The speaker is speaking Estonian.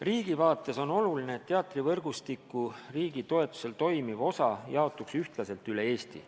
Riigi vaates on oluline, et teatrivõrgustiku riigi toetusel toimiv osa jaotuks ühtlaselt üle Eesti.